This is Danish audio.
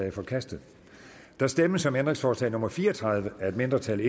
er forkastet der stemmes om ændringsforslag nummer fire og tredive af et mindretal